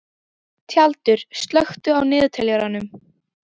Tjaldur, slökktu á niðurteljaranum.